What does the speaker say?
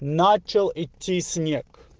начал идти снег